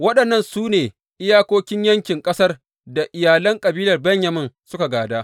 Waɗannan su ne iyakokin yankin ƙasar da iyalan kabilar Benyamin suka gāda.